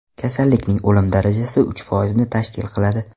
Kasallikning o‘lim darajasi uch foizni tashkil qiladi.